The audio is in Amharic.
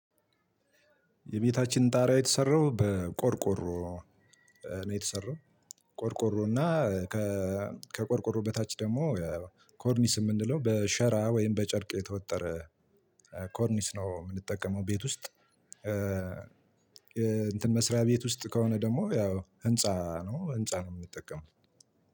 የቤታችን ጣሪያ የተሰራው በቆርቆሮ ነው የተሰራው ቆርቆሮና ከቆርቆሮ በታች ደግሞ ኮርኒስ የምንለው በሸራ ወይም በጨርቅ የተወጠረ ኮርኒስ ነው የምንጠቀመው ቤት ውስጥ። እንትን መስሪያ ቤት ውስጥ ከሆነ ደግሞ ያው ህንፃ ነው ህንፃ ነው የምንጠቀመው።